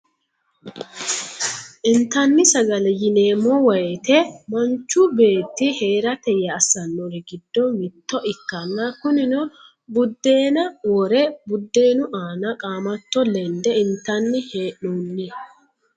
intanni sagale yineemo woyiite manchu beetti heerate yee assanorri giddo mitto ikkanna kunino budeena wore budeenu aanna qamatto lende intanni he'noonni.